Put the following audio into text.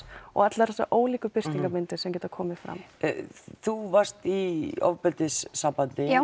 og allar þessar ólíku birtingarmyndir sem geta komið fram þú varst í ofbeldissambandi